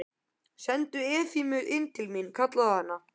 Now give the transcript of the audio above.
Sendu Efemíu inn til mín, kallaði hann.